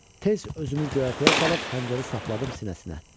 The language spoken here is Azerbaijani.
Tez özümü göyərtəyə salıb xəncəri sapladım sinəsinə.